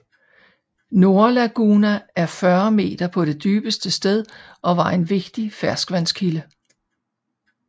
Nordlaguna er 40 meter på det dybeste sted og var en vigtig ferskvandskilde